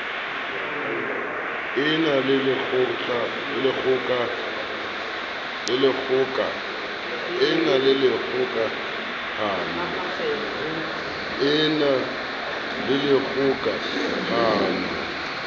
e na le kgoka hano